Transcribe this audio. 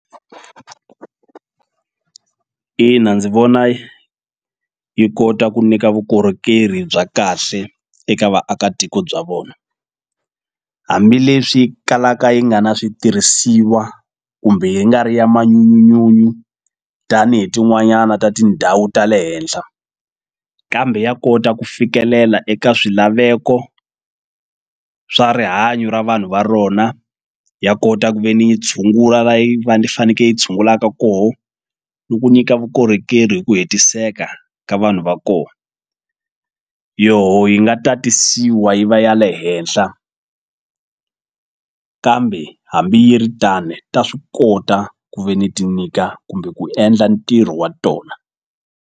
Ina ndzi vona yi kota ku nyika vukorhokeri bya kahle eka vaakatiko bya vona hambileswi kalaka yi nga na switirhisiwa kumbe yi nga ri ya manhyunyu tanihi tin'wanyana ta tindhawu ta le henhla kambe ya kota ku fikelela eka swilaveko swa rihanyo ra vanhu va rona ya kota ku ve ni yi tshungula faneke yi tshungulaka koho ni ku nyika vukorhokeri hi ku hetiseka ka vanhu va ko yoho yi nga tatisiwa yi va ya le henhla kambe hambi yi ri tane ta swi kota ku ve ni ti nyika kumbe ku endla ntirho wa tona.